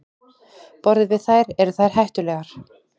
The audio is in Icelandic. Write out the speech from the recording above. Borðum við þær, eru þær hættulegar?